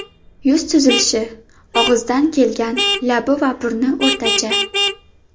Yuz tuzilishi: ozg‘indan kelgan, labi va burni o‘rtacha.